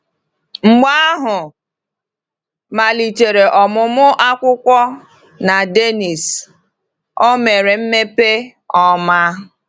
Mgbe ahụ, malitere ọmụmụ akwụkwọ na Dénnís, o mere mmepe ọma.